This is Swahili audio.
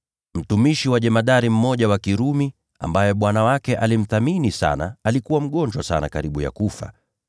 Mtumishi wa jemadari mmoja wa Kirumi, ambaye bwana wake alimthamini sana, alikuwa mgonjwa sana karibu kufa.